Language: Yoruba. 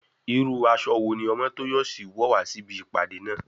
Irú aṣọ wo ní Omotoyosi wọ̀ wá sí ibi ìpàdé náà?